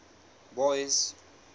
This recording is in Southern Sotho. boyce